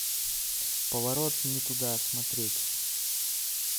поворот не туда смотреть